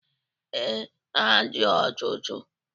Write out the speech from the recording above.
Ee, ha dị ọtụtụ.